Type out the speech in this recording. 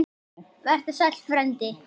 Vertu sæll, frændi.